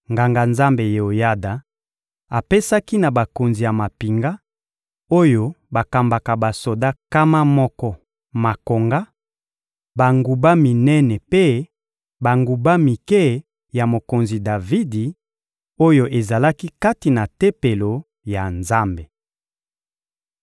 Nganga-Nzambe Yeoyada apesaki na bakonzi ya mampinga, oyo bakambaka basoda nkama moko makonga, banguba minene mpe banguba mike ya mokonzi Davidi, oyo ezalaki kati na Tempelo ya Nzambe.